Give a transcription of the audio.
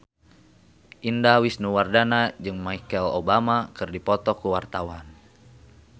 Indah Wisnuwardana jeung Michelle Obama keur dipoto ku wartawan